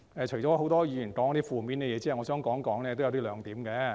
除了很多議員說了一些負面的東西外，我想談談以下兩點。